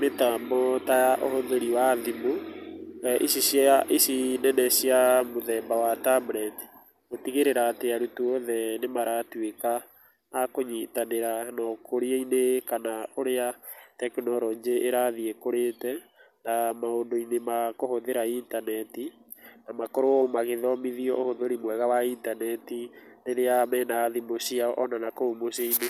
mĩtambo ta ũhũthĩri wa thimũ ici nene cia mũthemba wa tablet. Gũtigĩrĩra atĩ arutwo othe nĩ maratuĩka a knyitanĩra na ũkũria-inĩ kana ũrĩa tekinoronjĩ irathiĩ ĩkũrĩte, na maũndũ-inĩ ma kũhũthĩra intaneti. Na makorwo magĩthomithio ũhũthĩri mwega wa intaneti rĩrĩa mena thimũ ciao ona na kũu mũciĩ-inĩ.